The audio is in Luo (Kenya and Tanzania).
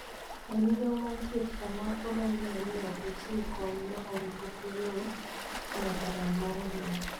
E migao mar thieth, kama odonjne ni ok ochiw kony ma oriko okelo nyaka lal mar ngima,